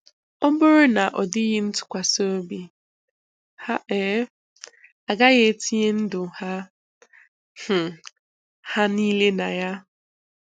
Ọ bụrụ na ọdịghị ntụkwasị obi, ha um agaghị etinye ndụ um ha ha um niile na ya.